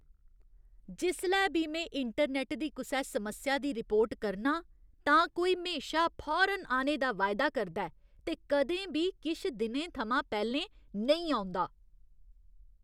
जिसलै बी में इंटरनैट्ट दी कुसै समस्या दी रिपोर्ट करनां तां कोई म्हेशा फौरन औने दा वायदा करदा ऐ ते कदें बी किश दिनें थमां पैह्‌लें नेईं औंदा।